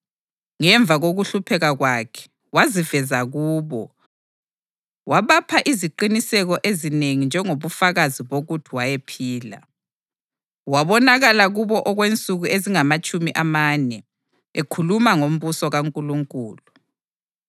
Ngemva kokuhlupheka kwakhe, waziveza kubo, wabapha iziqiniseko ezinengi njengobufakazi bokuthi wayephila. Wabonakala kubo okwensuku ezingamatshumi amane, ekhuluma ngombuso kaNkulunkulu.